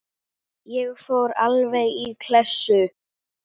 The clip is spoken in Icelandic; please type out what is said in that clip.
Ég fór alveg í klessu.